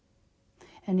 en